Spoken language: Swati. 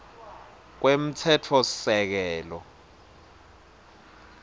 kwemtsetfosisekelo